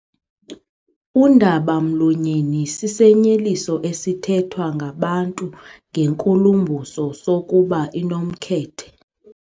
Undaba-mlonyeni sisinyeliso esithethwa ngabantu ngenkulumbuso sokuba inomkhethe.